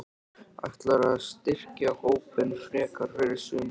Ætlarðu að styrkja hópinn frekar fyrir sumarið?